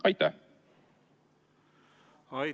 Aitäh!